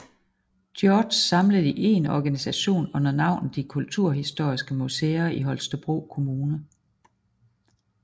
George samlet i én organisation under navnet De Kulturhistoriske Museer i Holstebro Kommune